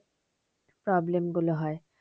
Problem গুলো হয়।